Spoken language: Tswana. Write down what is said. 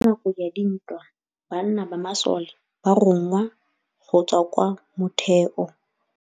Ka nakô ya dintwa banna ba masole ba rongwa go tswa kwa mothêô.